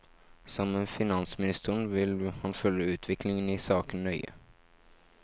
Sammen med finansministeren vil han følge utviklingen i saken nøye.